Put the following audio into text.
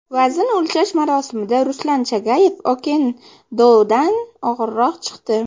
Vazn o‘lchash marosimida Ruslan Chagayev Okendodan og‘irroq chiqdi .